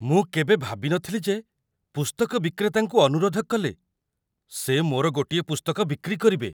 ମୁଁ କେବେ ଭାବିନଥିଲି ଯେ ପୁସ୍ତକ ବିକ୍ରେତାଙ୍କୁ ଅନୁରୋଧ କଲେ ସେ ମୋର ଗୋଟିଏ ପୁସ୍ତକ ବିକ୍ରି କରିବେ!